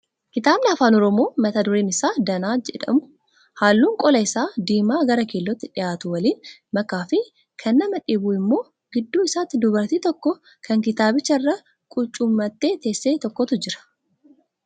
Kitaabni afaan oromoo mata dureen isaa Danaa jedhu halluun qola isaa diimaa gara keellootti dhiyaatu waliin makaa fi kan nmaa dhibu immoo gidduu isaatti dubartii tokko kan kitaabicha irra qucuummattee teesse tokkotu jira.